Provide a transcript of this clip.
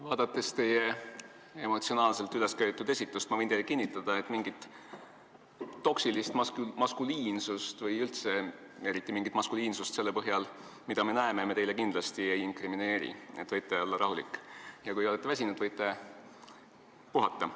Vaadates teie emotsionaalselt ülesköetud esitust, võin teile kinnitada, et mingit toksilist maskuliinsust või üldse eriti mingit maskuliinsust selle põhjal, mida me näeme, me teile kindlasti ei inkrimineeri, võite olla rahulik, ja kui te olete väsinud, võite puhata.